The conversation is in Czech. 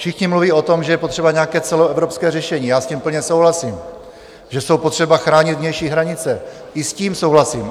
Všichni mluví o tom, že je potřeba nějaké celoevropské řešení, já s tím plně souhlasím, že jsou potřeba chránit vnější hranice, i s tím souhlasím.